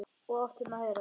Og áttum að heyra það.